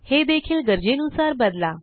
हे देखील गरजेनुसार बदला